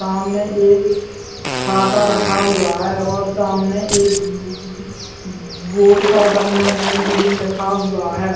सामने एक छाता रखा हुआ है और सामने एक ब बोर्ड पर बंधन बैंक भी लिखा हुआ है।